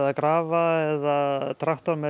grafa eða traktor með